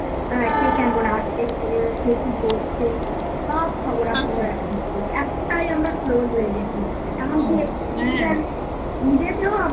আ কে কেমন আছে? কে কি করছে সব খবর আপনার কাছে একটাই আমরা close হয়ে গেছি এমনকি ঈদেতেও আমরা